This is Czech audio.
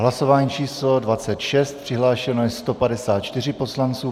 Hlasování číslo 26, přihlášeno je 154 poslanců.